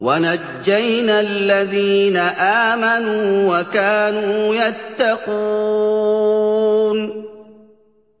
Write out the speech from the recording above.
وَنَجَّيْنَا الَّذِينَ آمَنُوا وَكَانُوا يَتَّقُونَ